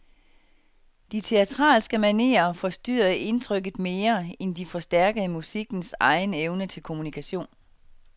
De teatralske manerer forstyrrede indtrykket mere, end de forstærkede musikkens egen evne til kommunikation.